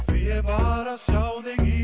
ég var að sjá þig í